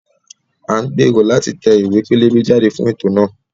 À ń gbèrò láti tẹ ìwé pélébé jáde fún ètò náà